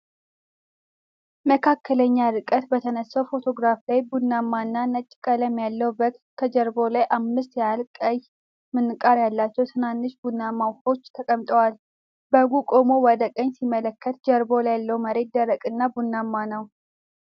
መካከለኛ ርቀት በተነሳ ፎቶግራፍ ላይ፣ ቡናማ እና ነጭ ቀለም ያለው በግ ከጀርባው ላይ አምስት ያህል ቀይ ምንቃር ያላቸው ትናንሽ ቡናማ ወፎች ተቀምጠዋል። በጉ ቆሞ ወደ ቀኝ ሲመለከት፣ ጀርባ ያለው መሬት ደረቅ እና ቡናማ ነው።